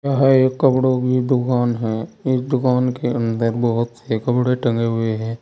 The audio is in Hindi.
यह एक कपड़ों की दुकान है इस दुकान के अंदर बहोत से कपड़े टंगे हुए हैं।